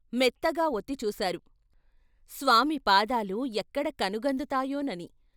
మెత్తగా వొత్తి చూశారు స్వామి పాదాలు ఎక్కడ కనుగందుతాయోనని.